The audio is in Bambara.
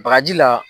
Bagaji la